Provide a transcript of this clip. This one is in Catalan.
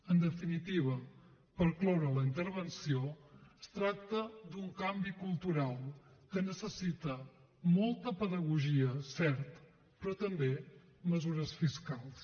en definitiva per cloure la intervenció es tracta d’un canvi cultural que necessita molta pedagogia cert però també mesures fiscals